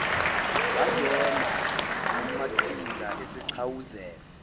wangena umaqhinga esegxawuzela